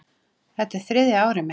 Þetta er þriðja árið mitt.